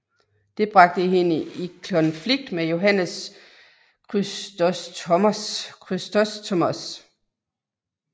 Det bragte hende i konflikt med Johannes Chrysostomos